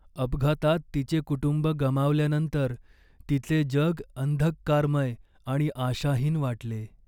अपघातात तिचे कुटुंब गमावल्यानंतर तिचे जग अंधकारमय आणि आशाहीन वाटले.